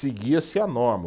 Seguia-se a norma.